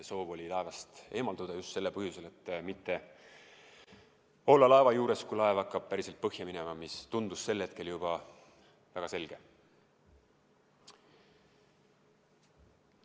Soov oli laevast eemalduda just sellel põhjusel, et mitte olla laeva juures, kui see hakkab päriselt põhja minema, mis tundus sel hetkel juba väga selge.